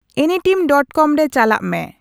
anytime dot com ᱨᱮ ᱪᱟᱞᱟᱜ ᱢᱮ